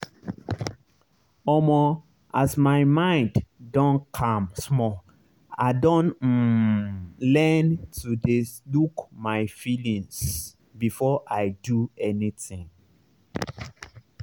omo as my mind don calm small i don um learn to dey look my feelings before i do anything.